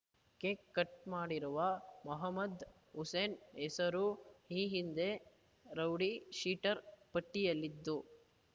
cake cut ಮಾಡಿರುವ ಮೊಹಮ್ಮದ್ ಹುಸೇನ್‌ ಹೆಸರು ಈ ಹಿಂದೆ ರೌಡಿ ಶೀಟರ್‌ ಪಟ್ಟಿಯಲ್ಲಿದ್ದು